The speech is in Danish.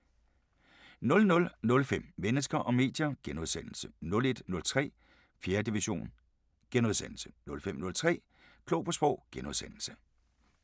00:05: Mennesker og medier * 01:03: 4. division * 05:03: Klog på Sprog *